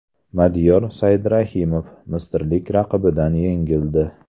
Madiyor Saidrahimov misrlik raqibidan yengildi.